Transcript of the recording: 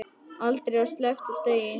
Aldrei var sleppt úr degi.